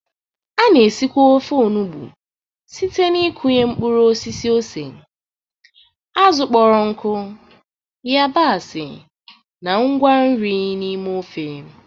A na-esikwa ofe Ofe enugbe site n'ịkụnye mkpụrụ osisi ose, azụ̀ kpọrọ nkụ, yabasị, na ngwa nri n'ime ofe.